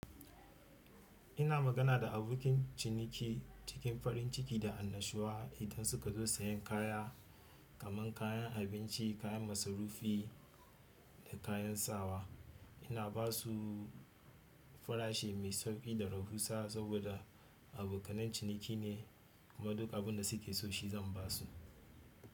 Ina magana da abokin ciniki cikin farin ciki da annashuwa idan suka zo sayen kaya kamar kayan abinci, kayan masarufi da kayan sawa. Ina ba su farashi mai sauƙi da raɓusa saboda abokanan ciniki ne kuma duk abin da suke so shi zan ba su.